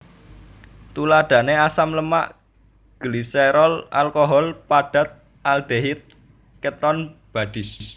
Tuladhané asam lemak gliserol alkohol padat aldehid keton bodies